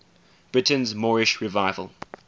britain's moorish revival